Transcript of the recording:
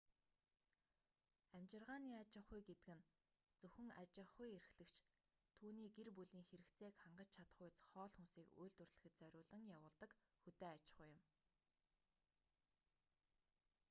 амьжиргааны аж ахуй гэдэг нь зөвхөн аж ахуй эрхлэгч түүний гэр бүлийн хэрэгцээг хангаж чадахуйц хоол хүнсийг үйлдвэрлэхэд зориулан явуулдаг хөдөө аж ахуй юм